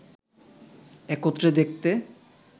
একত্রে দেখতে